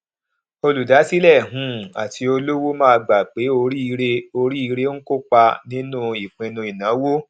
olùdásílẹ um àti olówó máa gbà pé oríire oríire ń kó ipa nínú ìpinnu ìnáwó